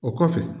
O kɔfɛ